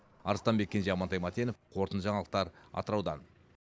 арыстанбек кенже амантай мәтенов қорытынды жаңалықтар атыраудан